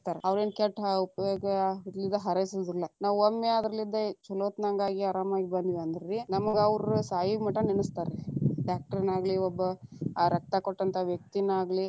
ಅವರೇನ ಕೆಟ್ಟ ಹ ಹಂಗ ಹಾರೈಸೆಂಗಿಲ್ಲಾ ನಾವು ಒಮ್ಮೆ ಅದರಲಿದ್ದ ಛಲೋತ್ನಂಗಾಗಿ, ಅರಾಮಾಗಿ ಬಂದ್ವೆಂದ್ರೀ, ನಮ್ಗ ಅವ್ರ ಸಾಯುಮಟಾನು ನೆನಸತಾರ, doctor ನಾಗಲಿ ಒಬ್ಬ ಆ ರಕ್ತ ಕೊಟ್ಟಂತಹ ವ್ಯಕ್ತಿನ ಆಗಲಿ.